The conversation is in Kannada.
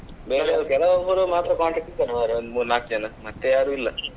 ಕೆಲವೊಬ್ರು ಮಾತ್ರ contact ಇದ್ದಾರೆ ಮರ್ರೆ ಒಂದು ಮೂರ್ ನಾಕ್ ಜನ ಬೇರೆ ಮತ್ತೆ ಯಾರು ಇಲ್ಲ.